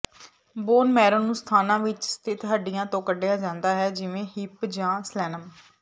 bone marrow ਨੂੰ ਸਥਾਨਾਂ ਵਿੱਚ ਸਥਿਤ ਹੱਡੀਆਂ ਤੋਂ ਕੱਢਿਆ ਜਾਂਦਾ ਹੈ ਜਿਵੇਂ ਹਿਪ ਜਾਂ ਸਲੇਨਮ